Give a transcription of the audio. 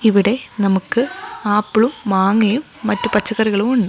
ഇവിടെ നമുക്ക് ആപ്പിളും മാങ്ങയും മറ്റ് പച്ചക്കറികളും ഉണ്ട്.